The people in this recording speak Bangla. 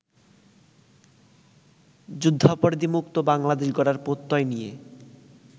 যুদ্ধাপরাধীমুক্ত বাংলাদেশ গড়ার প্রত্যয় নিয়ে